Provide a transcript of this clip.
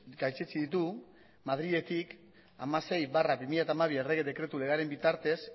gaitzetsi ditu madriletik hamasei barra bi mila hamabi errege dekretu legearen bitartez